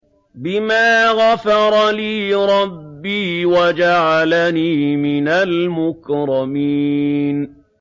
بِمَا غَفَرَ لِي رَبِّي وَجَعَلَنِي مِنَ الْمُكْرَمِينَ